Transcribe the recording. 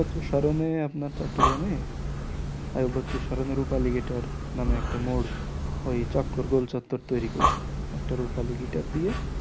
আইয়ুব বাচ্চু স্মরণে আপনার চট্টগ্রামে আইয়ুব বাচ্চুর স্মরণে রুপালি guitar নামে একটা মোর ওই চক্র গোল চত্বর তৈরী করেছে একটা রুপালি guitar দিয়ে